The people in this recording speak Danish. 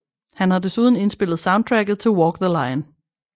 Han har desuden indspillet soundtracket til Walk the Line